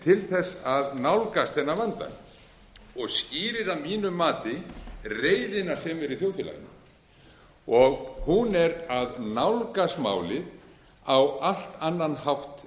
til þess að nálgast þennan vanda og skýrir að mínu mati reiðina sem er í þjóðfélaginu og hún er að nálgast málið á allt annan hátt